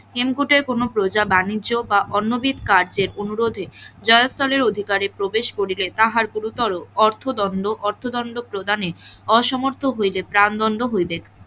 হেমকুটের কোন প্রজা বানিজ্য বা অন্যভিত কার্যের অনুরোধে জয়তনেরঅধিকারে প্রবেহস করিবে তাহার গুরুতর অর্থদন্ড অর্থদণ্ড প্রদানে অসমর্থ হইলে প্রাণদন্ড হইবে,